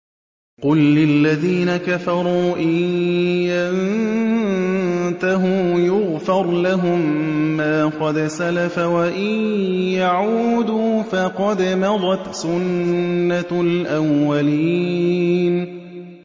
قُل لِّلَّذِينَ كَفَرُوا إِن يَنتَهُوا يُغْفَرْ لَهُم مَّا قَدْ سَلَفَ وَإِن يَعُودُوا فَقَدْ مَضَتْ سُنَّتُ الْأَوَّلِينَ